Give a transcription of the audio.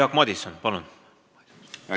Jaak Madison, palun!